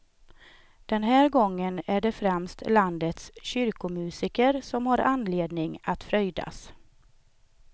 Den här gången är det främst landets kyrkomusiker som har anledning att fröjdas.